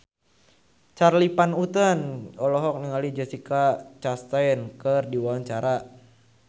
Charly Van Houten olohok ningali Jessica Chastain keur diwawancara